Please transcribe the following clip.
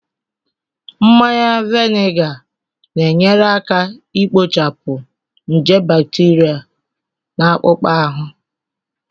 Mmanya vinega na-enyere aka ikpochapụ nje bacteria na akpụkpọ ahụ